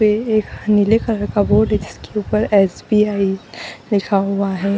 पे एक नीले कलर का बोर्ड उसके उपर स.बी.आई लिखा हुआ है।